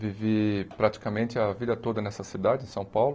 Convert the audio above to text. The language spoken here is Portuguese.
Vivi praticamente a vida toda nessa cidade, São Paulo.